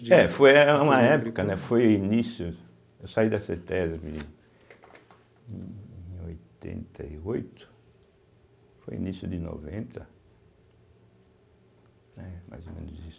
É, foi eh eh eh uma época, né, foi início, eu saí da cêtésbe em oitenta e oito, foi o início de noventa, né, mais ou menos isso.